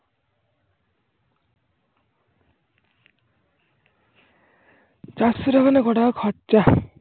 যা চারশো টাকা হয়ে কয়টাকা খরচা